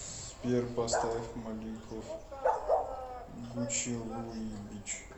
сбер поставь маликов гучилуибич